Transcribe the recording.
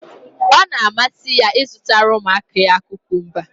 Ọ na-amasị ya ịzụtara ụmụaka ya kukumba.